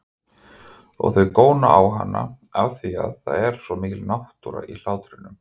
Og þau góna á hana afþvíað það er svo mikil náttúra í hlátrinum.